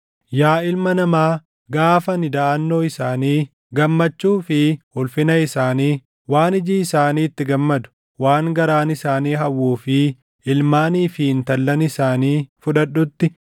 “Yaa ilma namaa, gaafa ani daʼannoo isaanii, gammachuu fi ulfina isaanii, waan iji isaanii itti gammadu, waan garaan isaanii hawwuu fi ilmaanii fi intallan isaanii fudhadhutti,